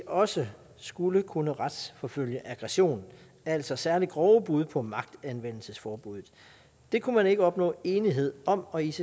også skulle kunne retsforfølge aggression altså særlig grove brud på magtanvendelsesforbuddet det kunne man ikke opnå enighed om og icc